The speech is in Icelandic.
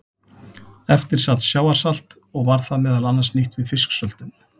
Eftir sat sjávarsalt og var það meðal annars nýtt við fisksöltun.